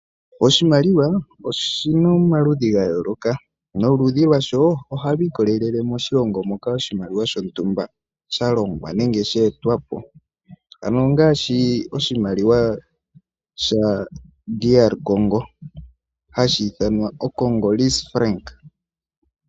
Oshimaliwa oshina omaludhi gayoloka noludhi lwasho ohalu ikwatelele koshilongo moka sha longwa. Ano ngaashi oshimaliwa DR Congo hashi ithanwa oCongolese.